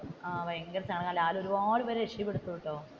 ലാൽ ഒരുപാട് പേരെ രക്ഷപ്പെടുത്തും കേട്ടോ.